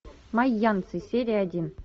майянцы серия один